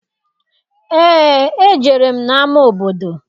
Eé, ejere m n'ama obodo.